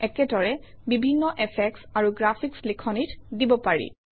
একেদৰে বিভিন্ন এফেক্টচ আৰু গ্ৰাফিকচ লিখনিত দিব পাৰি